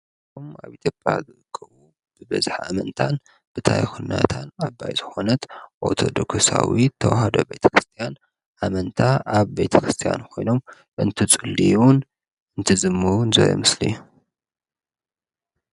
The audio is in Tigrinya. ኦም ኣብ ኢትዮጵያ ብበዝሕ ኣመንታን ብታ ይኹነታን ኣብ ባይዝኾነት ኦቶዶኮሳዊ ተውሃዶ ቤቲ ክርስቲያን ኣመንታ ኣብ ቤቲ ክርስቲያን ኾይኖም እንት ጽልዩን እንትዝሙን ዘርኢ ምስሊ እዩ ::